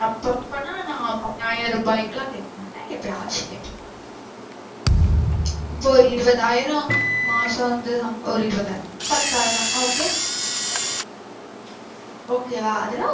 அப்ப அப்பன்னா நா பத்தாயிரருபாய்க்கு எல்லாம் கேக்கமாட்ட. எப்பயாச்சும் கேப்ப இப்ப ஒரு இருபதாயிரம் மாசம் வந்து சம்பளம் ஒரு இருபதாயிரம் பத்தாயிரம் ஓகே okay வா அதுல.